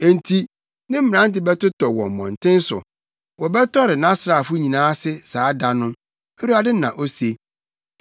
Enti ne mmerante bɛtotɔ wɔ mmɔnten so; wɔbɛtɔre nʼasraafo nyinaa ase saa da no,” Awurade na ose.